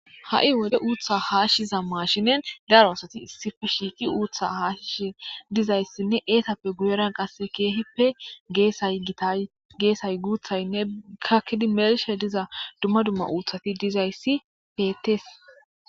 ha7i wode uutha haashshiza mashinen daro asati sife shiiqi uutha haashishe dizayssinne eetappe guyeran qasse keehippe geaygita geesay guuthaynne kakkidi mershe diza dumma dumma uuthati dizayssi betes